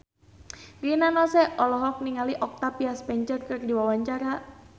Rina Nose olohok ningali Octavia Spencer keur diwawancara